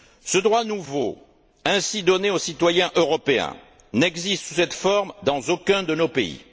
Ce droit nouveau, ainsi donné aux citoyens européens, n'existe sous cette forme dans aucun de nos pays.